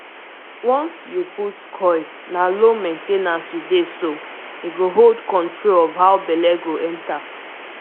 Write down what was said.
once you put coil na low main ten ance u dey so- e go hold control of how belle go enter